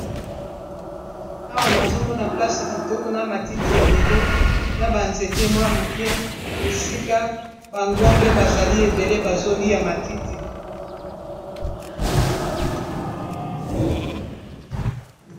Awa nazomona place kitoko na matiti ebele na banzete mwa moke esika bangombe bazali ebele bazolia matiti